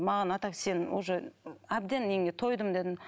маған а так сенің уже әбден неңе тойдым дедім